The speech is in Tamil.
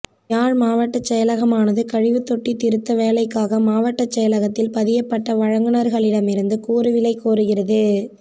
யாழ் மாவட்டச் செயலகமானது கழிவுத் தொட்டி திருத்த வேலைக்காக மாவட்டச் செயலகத்தில் பதியப்பட்ட வழங்குனர்களிடம் இருந்து கூறுவிலை கோருகிறது